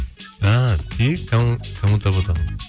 і не дейді кому то ботақан